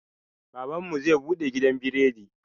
Baban mu zai buɗe gidan biredi.